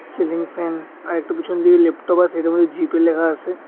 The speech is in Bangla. সিলিং ফ্যান আর একটু পিছন দিয়ে ল্যাপটপ আছে এটার মধ্যে জি_পে লেখা আছে।